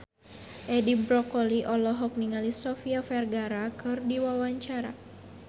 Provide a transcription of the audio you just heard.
Edi Brokoli olohok ningali Sofia Vergara keur diwawancara